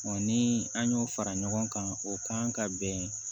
ni an y'o fara ɲɔgɔn kan o kan ka bɛn